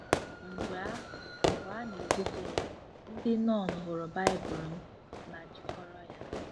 Mgbe a Mgbe a na-ebufe ya, ndị nọn hụrụ Baịbụl m ma Jikọrọ ya.